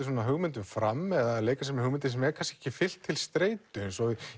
hugmyndum fram eða leika sér með hugmyndir sem er kannski ekki fylgt til streitu eins og